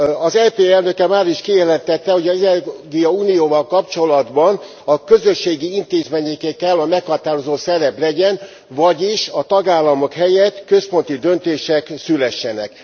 Az EP elnöke máris kijelentette, hogy az energiaunióval kapcsolatban a közösségi intézményeké kell, hogy a meghatározó szerep legyen, vagyis a tagállamok helyett központi döntések szülessenek.